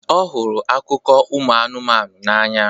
ọ hụrụ akụkọ ụmụ anụmanụ n'anya